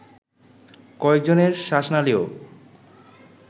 কয়েকজনের শ্বাসনালীও